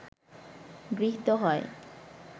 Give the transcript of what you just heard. গৃহীত হয়